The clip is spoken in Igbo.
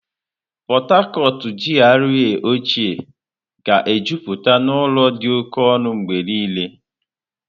Port Harcourt GRA ochịẹ́ ga-ejupụta n'ụlọ dị oke ọnụ mgbe niile.